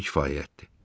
Bu kifayətdir.